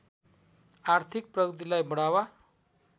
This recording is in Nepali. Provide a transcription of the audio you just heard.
आर्थिक प्रगतिलाई बढावा